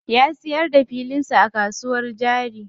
Ya siyar da filin sa a kasuwar jari.